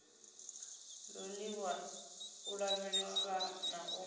ṱoliwa u lavheleswa na u